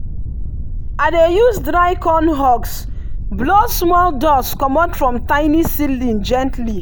i dey use dry corn husk blow small dust comot from tiny seedling gently.